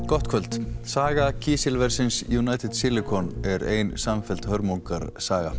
gott kvöld saga kísilversins United Silicon er ein samfelld hörmungarsaga